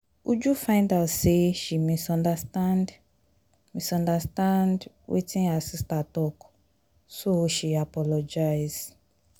uju find out say she misunderstand misunderstand wetin her sister talk so she apologize